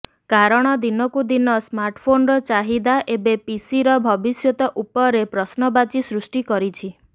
କାରଣ ଦିନକୁ ଦିନ ସ୍ମାର୍ଟଫୋନର ଚାହିଦା ଏବେ ପିସିର ଭବିଷ୍ୟତ ଉପରେ ପ୍ରଶ୍ନବାଚୀ ସୃଷ୍ଟି କରିଛି